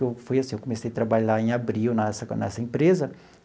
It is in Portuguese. Eu fui assim eu comecei trabalhar em abril nessa nessa empresa.